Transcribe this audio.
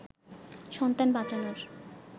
সন্তান বাঁচানোর